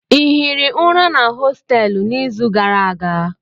Ị hiri ụra na hostelụ n'izu gara aga?